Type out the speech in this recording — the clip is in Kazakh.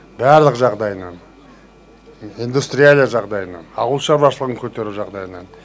барлық жағдайынан индустрияльный жағдайынан ауыл шаруашылығын көтеру жағдайынан